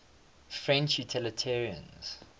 french unitarians